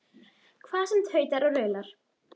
Hvað sem tautar og raular.